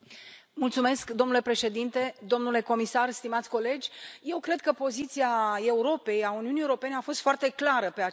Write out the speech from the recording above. Domnule președinte, domnule comisar, stimați colegi, eu cred că poziția Europei, a Uniunii Europene a fost foarte clară pe acest subiect.